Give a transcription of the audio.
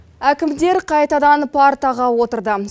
әкімдер қайтадан партаға отырды